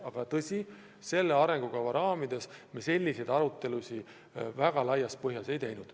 Aga selle arengukava raames me selleteemalist arutelu laias laastus ei teinud.